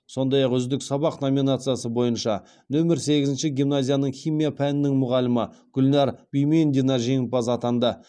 сондай ақ үздік сабақ номинациясы бойынша нөмір сегізінші гимназияның химия пәнінің мұғалімі гүлнәр бимендина жеңімпаз атанды